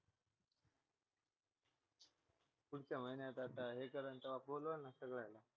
पुढच्या महिन्यात आता हे करेल तेव्हा बोलवेल ना सगळ्यांना